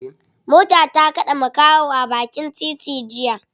Mota ta kade makaho a bakin titi jiya.